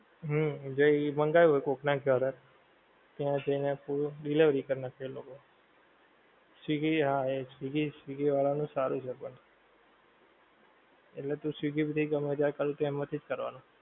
હં જે એ મંગાયવુ હોય કોક નાં ઘરે ત્યાં જઈને food delivery કરી નાંખે એ લોકો. સ્વીગી હા એજ સ્વીગી, સ્વીગી વાળાંઓનું સારું છે પણ. એટલે તો સ્વીગી થી ગમે ત્યારે કરવું હોય ત્યારે એમાંથી જ કરવાનું.